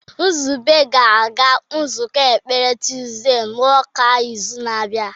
Nzube ga-aga nzukọ ekpere tuzdee n'ụka n'izu na-abịa.